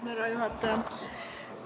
Härra juhataja!